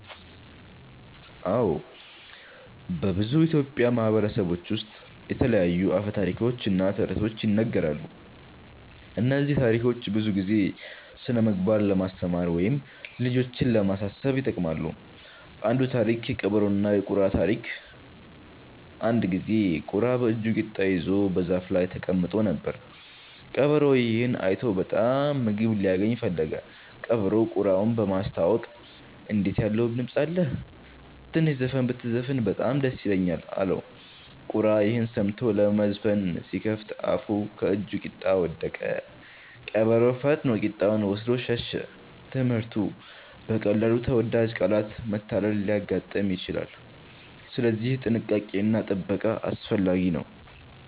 አዎ፣ በብዙ ኢትዮጵያዊ ማህበረሰቦች ውስጥ የተለያዩ አፈ ታሪኮች እና ተረቶች ይነገራሉ። እነዚህ ታሪኮች ብዙ ጊዜ ስነ-ምግባር ለማስተማር ወይም ልጆችን ለማሳሰብ ይጠቅማሉ። አንዱ ታሪክ (የቀበሮና የቁራ ታሪክ) አንድ ጊዜ ቁራ በእጁ ቂጣ ይዞ በዛፍ ላይ ተቀምጦ ነበር። ቀበሮ ይህን አይቶ በጣም ምግብ ሊያገኝ ፈለገ። ቀበሮው ቁራውን በማስታወቅ “እንዴት ያለ ውብ ድምፅ አለህ! ትንሽ ዘፈን ብትዘፍን በጣም ደስ ይለኛል” አለው። ቁራ ይህን ሰምቶ ለመዘፈን ሲከፍት አፉን ከእጁ ቂጣ ወደቀ። ቀበሮ ፈጥኖ ቂጣውን ወስዶ ሸሸ። ትምህርቱ: በቀላሉ በተወዳጅ ቃላት መታለል ሊያጋጥም ይችላል፣ ስለዚህ ጥንቃቄ እና ጥበቃ አስፈላጊ ነው።